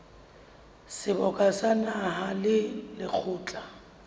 seboka sa naha le lekgotla